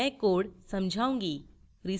मैं code समझाऊँगी